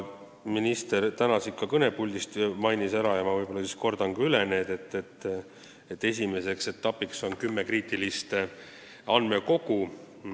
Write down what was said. Minister täna siit kõnepuldist seda mainis ja ma kordan üle, et esimeseks etapiks on välja valitud kümme kriitilist andmekogu.